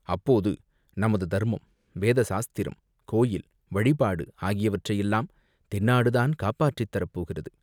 அப்போது நமது தர்மம், வேதசாஸ்திரம், கோயில், வழிபாடு ,ஆகியவற்றையெல்லாம் தென்னாடுதான் காப்பாற்றித் தரப்போகிறது.